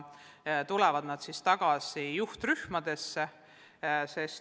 Siis tulevad nad tagasi juhtrühmadesse.